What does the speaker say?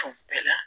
bɛɛ la